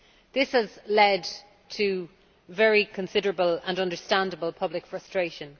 This has led to very considerable and understandable public frustration.